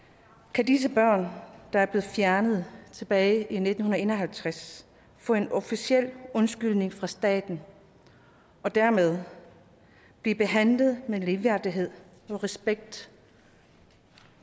kan disse børn der blev fjernet tilbage i nitten en og halvtreds få en officiel undskyldning fra staten og dermed blive behandlet med ligeværdighed og respekt